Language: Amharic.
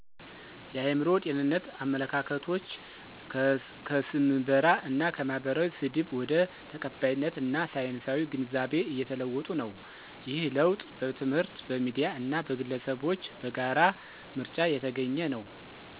የአእምሮ ጤንነት አመለካከቶች ከስምበራ እና ከማህበራዊ ስድብ ወደ ተቀባይነት እና ሳይንሳዊ ግንዛቤ እየተለወጡ ነው። ይህ ለውጥ በትምህርት፣ በሚዲያ እና በግለሰቦች በጋራ ምርጫ የተገኘ ነው።